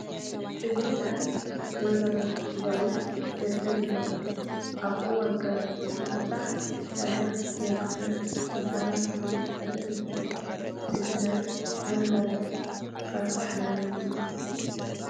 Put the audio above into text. እዚ ናይ ተመዛበልቲ ግዚያዊ መፅለሊ ቦታ እዩ፡፡ ኣብ እዋን ክረምቲ እዚ ቦታ ረግረግ ስለዝኾውን ንሰባት ብዙሕ ፀገም የስዕብ፡፡ እዚ ናይ ተመዛመልኪ ከርፋ ናብራ መግለፂ እዩ፡፡